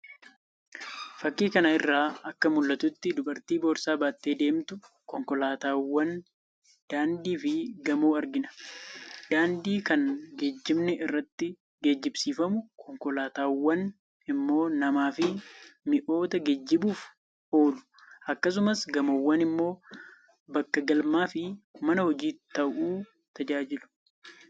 Fakkii kana irraa akka mul'atutti dubartii boorsaa baattee deemtu, konkolaataawwan, daandii fi gamoo argina. Daandiin kan geejjibni irratti geejjibsiifamudha; konkolaataawwan immoo namaa fi mi'oota geejjibùuf oolu akkasumas gamoowwan immoo bakka galmaa fi mana hojii ta'uu tajaajilu.